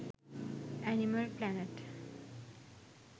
animal planet